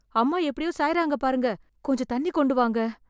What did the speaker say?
அம்மா எப்டியோ சாய்றாங்க பாருங்க... கொஞ்சம் தண்ணி கொண்டு வாங்க.